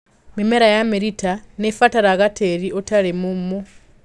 Mĩmera ya mĩrita nĩibataraga tĩri ũtarĩ mũmu.